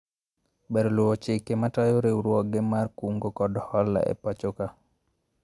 Ber luwo chike matayo riwruoge mar kungo kod hola e pachoka